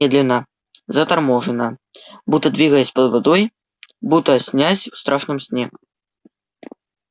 медленно заторможенно будто двигаясь под водой будто снясь в страшном сне